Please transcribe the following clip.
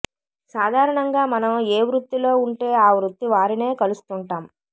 సాధారణంగా మనం ఏ వృత్తిలో ఉంటే ఆ వృత్తి వారినే కలుస్తుంటాం